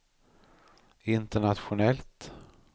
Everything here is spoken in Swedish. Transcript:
internationellt